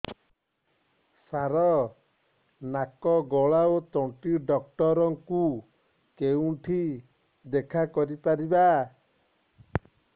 ସାର ନାକ ଗଳା ଓ ତଣ୍ଟି ଡକ୍ଟର ଙ୍କୁ କେଉଁଠି ଦେଖା କରିପାରିବା